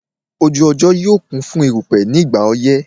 Ojú ọjọ́ yóò kún fún eruku ní ìgbà ọyẹ́